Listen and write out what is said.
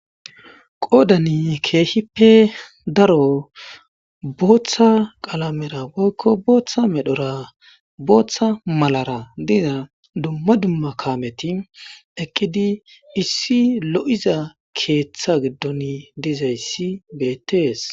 qoodani keehippe daro booththa qalamera woykko booththa medhora booththa malara diza dumma dumma kaameti ekkidi issi lo7iza keeththa giddoni dizayssi beettees